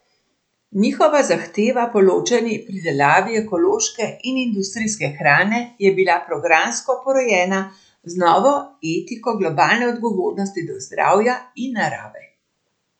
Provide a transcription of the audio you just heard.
Njihova zahteva po ločeni pridelavi ekološke in industrijske hrane je bila programsko porojena z novo etiko globalne odgovornosti do zdravja in narave.